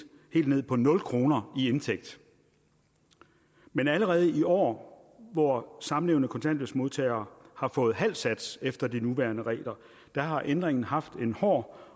ned på nul kroner i indtægt men allerede i år hvor samlevende kontanthjælpsmodtagere har fået halv sats efter de nuværende regler har ændringen haft en hård